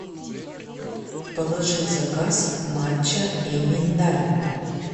положи в заказ матча и миндаль